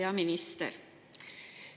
Hea minister!